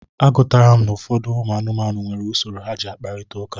A gụtara m na ụfọdụ anụmanụ nwere usoro ha ji akprịta ụka.